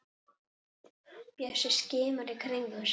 Bjössi skimar í kringum sig.